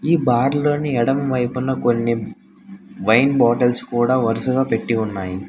ఈ బాటిల్ల్ అన్నీ ఎడమ వైపున కొన్ని వైన్ బాటిల్స్ కూడా వరుసగా పెట్టి ఉన్నాయ్.